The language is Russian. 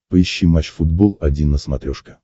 поищи матч футбол один на смотрешке